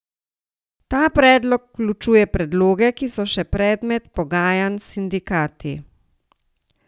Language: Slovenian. Ta predlog vključuje predloge, ki so še predmet pogajanj s sindikati.